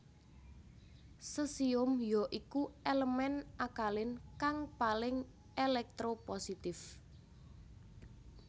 Sesium ya iku elemen akalin kang paling elektropositif